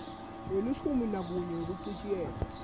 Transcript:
welishumi nakunye wekuchitjiyelwa